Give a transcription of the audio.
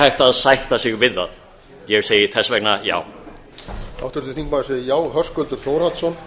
hægt að sætta sig við það ég segi þess vegna já